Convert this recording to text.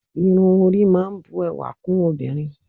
Irun orí máa ń bu ẹwà kún obìnrin